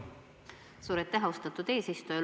Suur aitäh, austatud eesistuja!